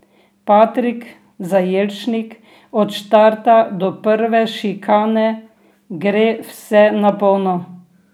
Patrik Zajelšnik: 'Od štarta do prve šikane gre vse na polno.